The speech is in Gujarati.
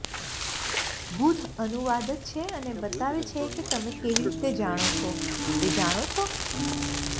બુધ અનુવાદક છે અને બતાવે છે કે તમે કેવી રીતે જાણો છો તે જાણો છો